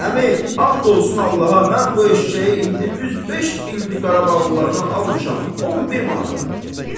Əmi, and olsun Allaha, mən bu eşşəyi indi düz beş ildir Qarabağlılardan almışam, 10 bir manata.